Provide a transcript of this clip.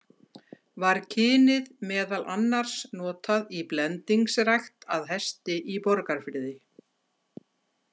Var kynið meðal annars notað í blendingsrækt að Hesti í Borgarfirði.